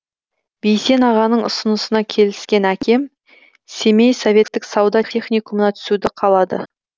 бейсен ағаның ұсынысына келіскен әкем семей советтік сауда техникумына түсуді қалады